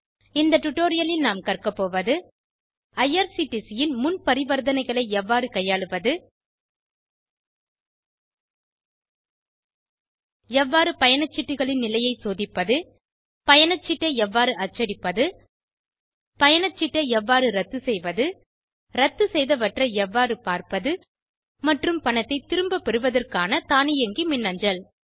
இந்த டுடோரியலில் நாம் கற்க போவது ஐஆர்சிடிசி ன் முன் பரிவர்த்தனைகளை எவ்வாறு கையாளுவது எவ்வாறு பயணச்சீட்டுகளின் நிலையை சோதிப்பது பயணச்சீட்டை எவ்வாறு அச்சடிப்பது பயணச்சீட்டை எவ்வாறு இரத்துசெய்வது இரத்துசெய்தவற்றை எவ்வாறு பார்ப்பது மற்றும் பணத்தை திரும்ப பெறுவதற்கான தானியங்கி மின்னஞ்சல்